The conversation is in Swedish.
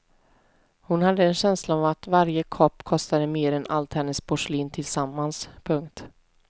Hon hade en känsla av att varje kopp kostade mer än allt hennes porslin tillsammans. punkt